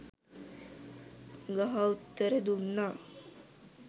ගහ උත්තර දුන්නා.